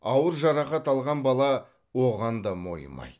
ауыр жарақат алған бала оған да мойымайды